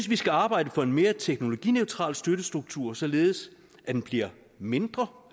vi skal arbejde for en mere teknologineutral støttestruktur således at den bliver mindre